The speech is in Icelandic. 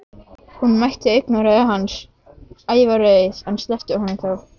Hún mætti augnaráði hans, ævareið, en sleppti honum þó.